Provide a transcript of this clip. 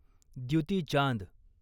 Dutee Chand